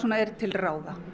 er til ráða